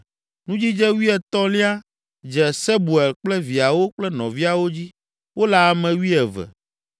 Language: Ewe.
Nudzidze wuietɔ̃lia dze Sebuel kple viawo kple nɔviawo dzi; wole ame wuieve.